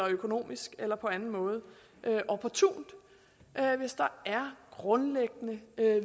økonomisk eller på anden måde opportunt hvis der er grundlæggende